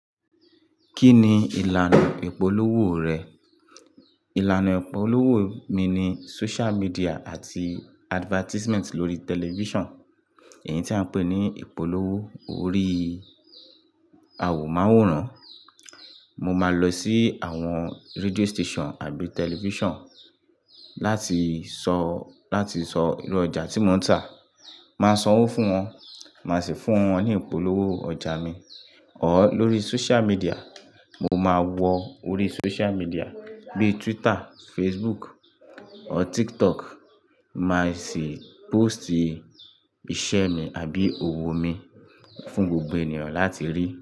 Kí ni ìlànà ìpolówó rẹ? Ìlànà ìpolówó mi ni social media àti advertisement lórí television. Èyí tí à ń pè ní ìpolówó orí awọ máwòrán. Mo máa lọ sí àwọn radio station àbí television láti sọ, láti sọ irú ọjà tí mò ń tà. Máa sanwó fún wọn, máa sì fún wọn ní ìpolówó ọjà mi. Ọ lórí social media, mo máa wọ orí social media bíi Twitter, Facebook or TikTok, màá sì post iṣẹ́ mi àbí òwò mi fún gbogbo ènìyàn láti rí.